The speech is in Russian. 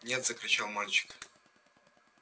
нет закричал мальчик